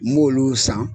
N b'olu san